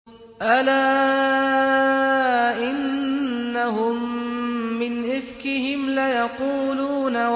أَلَا إِنَّهُم مِّنْ إِفْكِهِمْ لَيَقُولُونَ